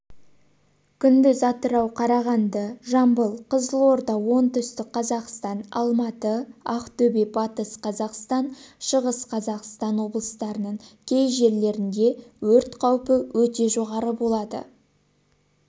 күндіз атырау қарағанды жамбыл қызылорда оңтүстік қазақстан алматы ақтөбе батыс қазақстан шығыс қазақстан облыстарының кей жерлерінде өрт қаупі өте жоғары болады